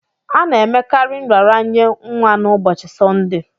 A na-emekarị nraranye nwa na ụbọchi Sọnde